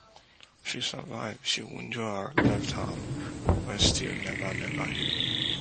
she survive she wunjure her left arm wey still neva neva heal